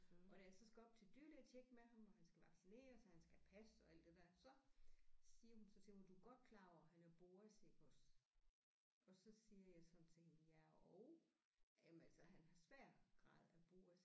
Og da jeg så skal op til dyrlægetjek med ham og han skal vaccineres og han skal have pas og alt det der så siger hun så til mig du er godt klar over han er BOAS iggås og så siger jeg sådan til hende ja og jamen altså han har svær grad af BOAS